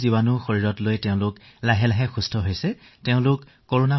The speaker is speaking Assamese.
যদিও ইয়াত ১৬টা পৰিঘটনা দেখিবলৈ পোৱা গৈছে কিন্তু তৰুণ প্ৰজন্মও যে আক্ৰান্ত হৈছে এনে ভাৱ হৈছে